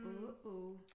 Åh åh